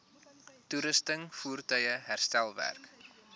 toerusting voertuie herstelwerk